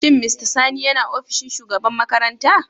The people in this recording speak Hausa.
Shin mr sani yana ofishin shugaban makaranta?